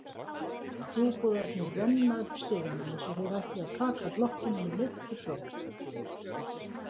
Trúboðarnir renna upp stigana eins og þeir ætli að taka blokkina með leiftursókn.